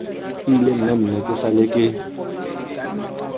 ile mmemme ke sale ke